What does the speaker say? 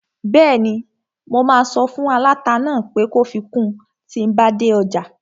Bẹ́ẹ̀ni, mo máa sọ fún aláta náà pé kó fi kun tíi n bá dé ọjà